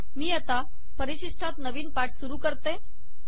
मी आता परिशिष्टात नवीन पाठ सुरू करते